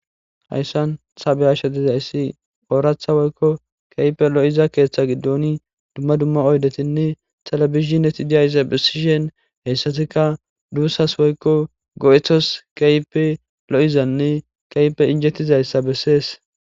Hayissan taa be'ashshe dizayissi oraththa woyikko kehippe lo'izza keththa giddonni dumma dumma oyidettinne televisioneti dizayissa besishshinn hessattikka dusasi woyikko go'etos kehippe lo'izanne injetizayissa besses.